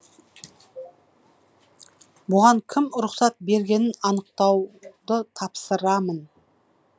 бұған кім рұқсат бергенін анықтауды тапсырамын